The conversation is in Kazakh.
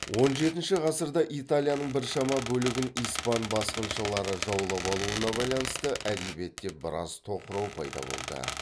он жетінші ғасырда италияның біршама бөлігін испан басқыншылары жаулап алуына байланысты әдебиетте біраз тоқырау пайда болды